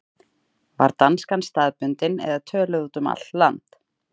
Var danskan staðbundin eða töluð út um allt land?